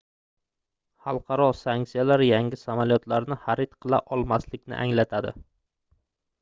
xalqaro sanksiyalar yangi samolyotlarni xarid qila olmaslikni anglatadi